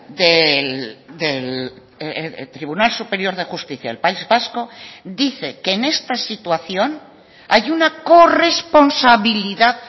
del tribunal superior de justicia del país vasco dice que en esta situación hay una corresponsabilidad